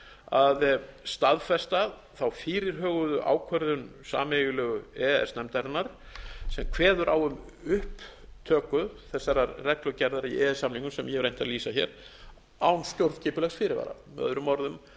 að staðfesta þá fyrirhugað ákvörðun sameiginlegu e e s nefndarinnar sem kveður á um upptöku þessarar reglugerðar í e e s samningnum sem ég hef reynt að lýsa hér án stjórnskipulegs fyrirvara möo